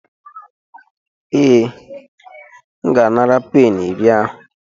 Ee, M ga-anara peni iri ahụ.